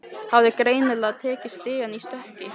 Hafði greinilega tekið stigann í stökki.